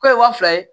K'o ye waa fila ye